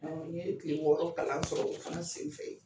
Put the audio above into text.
N ye kile wɔɔrɔ kalan sɔrɔ o fana sen fɛ.